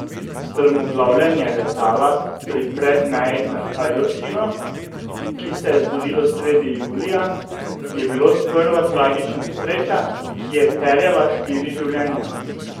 Strmoglavljenje letala pri Predmeji nad Ajdovščino, ki se je zgodilo sredi julija, je bilo sprva tragična nesreča, ki je terjala štiri življenja.